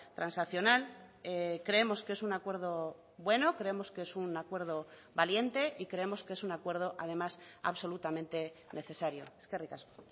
transaccional creemos que es un acuerdo bueno creemos que es un acuerdo valiente y creemos que es un acuerdo además absolutamente necesario eskerrik asko